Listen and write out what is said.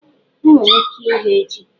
Enwere ike ighe ji